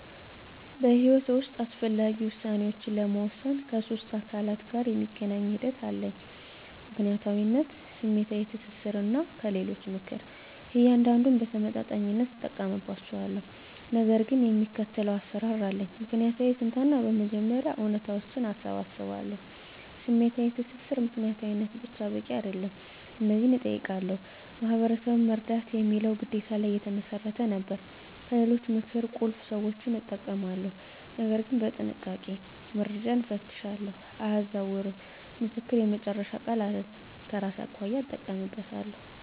በሕይወቴ ውስጥ አስፈላጊ ውሳኔዎችን ለመወሰን ከሶስት አካላት ጋር የሚገናኝ ሂደት አለኝ፦ ምክንያታዊነት፣ ስሜታዊ ትስስር፣ እና ከሌሎች ምክር። እያንዳንዱን በተመጣጣኝነት እጠቀምባቸዋለሁ፣ ነገር ግን የሚከተለው አሰራር አለኝ። ምክንያታዊ ትንተና በመጀመሪያ እውነታዎችን እሰባስባለሁ። #ስሜታዊ ትስስር ምክንያታዊነት ብቻ በቂ አይደለም። እነዚህን እጠይቃለሁ፦ "ማህበረሰብን መርዳት" የሚለው ግዴታ ላይ የተመሰረተ ነበር። #ከሌሎች ምክር ቁልፍ ሰዎችን እጠቀማለሁ፣ ነገር ግን በጥንቃቄ፦ - መረጃን እፈትሻለሁ፣ አያዛውርም፦ ምክር የመጨረሻ ቃል አይደለም፤ ከራሴ አኳያ እጠቀምበታለሁ።